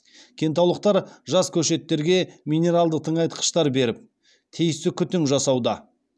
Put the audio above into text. кентаулықтар жас көшеттерге минералды тыңайтқыштар беріп тиісті күтім жасауда